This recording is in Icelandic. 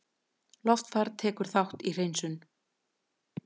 Loftfar tekur þátt í hreinsun